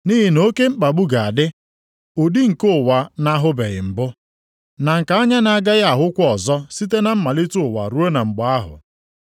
Nʼihi na oke mkpagbu ga-adị, ụdị nke ụwa na-ahụbeghị mbụ, na nke anya na-agaghị ahụkwa ọzọ site na mmalite ụwa ruo mgbe ahụ.